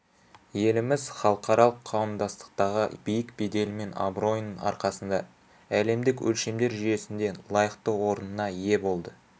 еліміз халықаралық қауымдастықтағы биік беделі мен абыройының арқасында әлемдік өлшемдер жүйесінде лайықты орнына ие болды